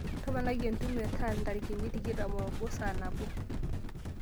toponai entumo e tal ntarikini tikitam o obo saa nabo